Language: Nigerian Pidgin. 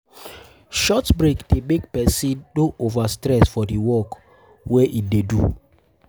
Short breaks de make persin no um over stress for di work um wey um in de do